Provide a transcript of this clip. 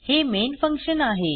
हे main function आहे